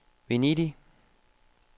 Venedig